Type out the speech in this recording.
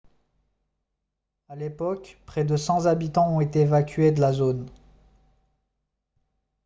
à l'époque près de 100 habitants ont été évacués de la zone